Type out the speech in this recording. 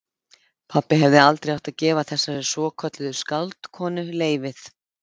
Pabbi hefði aldrei átt að gefa þessari svokölluðu skáldkonu leyfið.